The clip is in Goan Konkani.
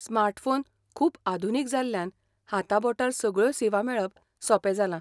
स्मार्टफोन खूब आधुनीक जाल्ल्यान हाताबोटार सगळ्यो सेवा मेळप सोपें जालां.